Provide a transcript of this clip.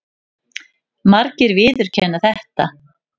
Margir viðurkenna þetta.